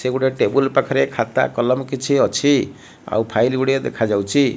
ସେ ଗୋଟେ ଟେବୁଲ ପାଖରେ ଖାତା କଲମ କିଛି ଅଛି ଆଉ ଫାଇଲ ଗୁଡ଼ିଏ ଦେଖାଯାଉଛି।